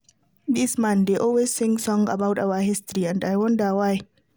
Dis man dey always sing song about our history and I wonder why